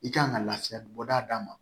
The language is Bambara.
I kan ka lafiya bɔda d'a ma